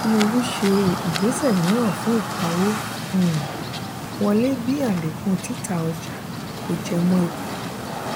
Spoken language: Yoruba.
tinubu ṣe ìgbésẹ míràn fún ìpawó um wọlé bí alekun títà ọjà kò jẹmọ́ èpo.